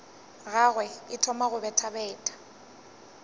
gagwe e thoma go bethabetha